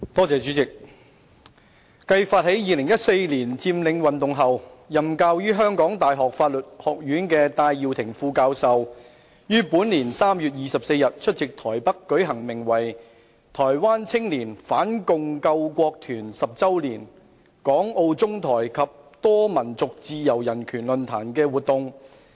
主席，繼發起2014年佔領運動後，任教於香港大學法律學院的戴耀廷副教授，於本年3月24日出席台北舉行名為"台灣青年反共救國團十週年—港澳中台及多民族自由人權論壇"的活動。